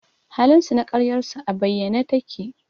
halinsu na ƙaryarsu a bayyane take